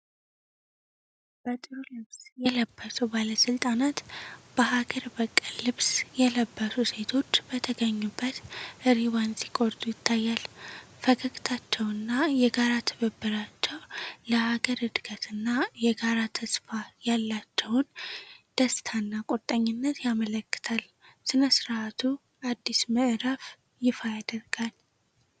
በጥሩ ልብስ የለበሱ ባለስልጣናት በሀገር በቀል ልብስ የለበሱ ሴቶች በተገኙበት ሪባን ሲቆርጡ ይታያል። ፈገግታቸውና የጋራ ትብብራቸው ለሀገር እድገትና የጋራ ተስፋ ያላቸውን ደስታና ቁርጠኝነት ያመለክታል። ሥነ ሥርዓቱ አዲስ ምዕራፍን ይፋ ያደርጋል።